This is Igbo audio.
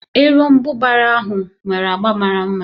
Erombubara ahụ nwere agba mara mma